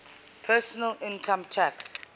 personal income tax